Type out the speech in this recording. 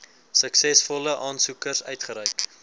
suksesvolle aansoekers uitgereik